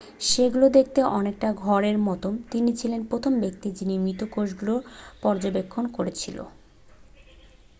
সেগুলো দেখতে অনেকটা ঘর এর মত তিনি ছিলেন প্রথম ব্যক্তি যিনি মৃত কোষগুলি পর্যবেক্ষণ করেছিলেন